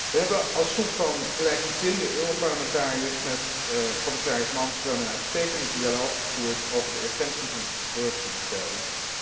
We hebben als groep van gelijkgezinde Europarlementariërs met commissaris Malmström een uitstekende dialoog gevoerd over de urgentie van corruptiebestrijding.